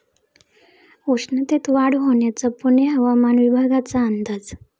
उष्णतेत वाढ होण्याचा पुणे हवामान विभागाचा अंदाज